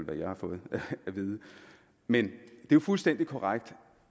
jeg har fået at vide men det er fuldstændig korrekt